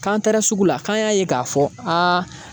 K'an taara sugu la , k'an y'a ye k'a fɔ a